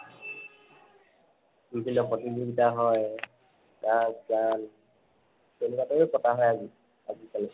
প্ৰতিযোগিতা হয় নাচ গান তেনেকুৱা এটা পতা হয় আজি কালি